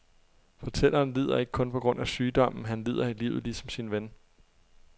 Fortælleren lider ikke kun på grund af sygdommen, han lider i livet, ligesom sin ven.